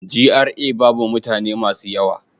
GRA babu mutane masu yawa.